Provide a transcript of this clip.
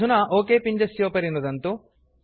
अधुना ओक पिञ्जस्योपरि नुदन्तु